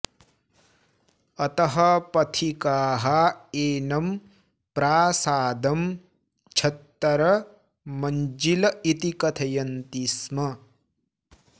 अतः पथिकाः एनं प्रासादं छत्तर मञ्जिल इति कथयन्ति स्म